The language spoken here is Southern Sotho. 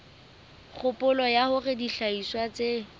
kgopolo ya hore dihlahiswa tse